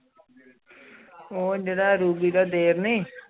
ਉਹ ਜੇਰਾ ਰੂਬੀ ਦਾ ਦੇਵਰ ਨੀ